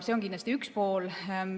See on kindlasti üks pool.